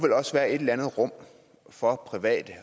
være et eller andet rum for private i